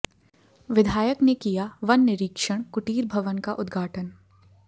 विधायक ने किया वन निरीक्षण कुटीर भवन का उद्घाटन